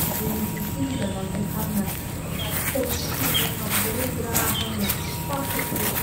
Quiz ꯑꯁꯤꯒꯤꯗꯃꯛ ꯑꯩꯍꯥꯛꯅ ꯑꯃꯠꯇ ꯅꯤꯡꯁꯤꯡꯕ ꯉꯝꯂꯔꯣꯏꯗ꯭ꯔꯥ ꯍꯥꯏꯅ ꯄꯥꯈꯠꯂꯤ ꯫